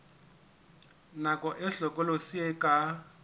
nako e hlokolosi e ka